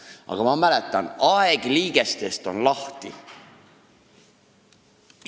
Aga ma mäletan: "Aeg liigestest on lahti.